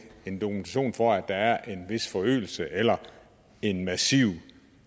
en dokumentation for at der er en vis forøgelse eller en massiv